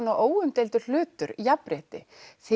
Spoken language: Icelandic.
svona óumdeildur hlutur jafnrétti